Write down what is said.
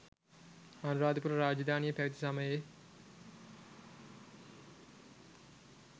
අනුරාධපුර රාජධානිය පැවැති සමයේ